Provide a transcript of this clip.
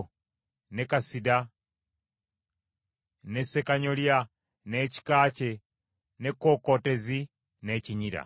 ne kasiida, ne ssekanyolya, n’ekika kye, n’ekkookootezi, n’ekinyira.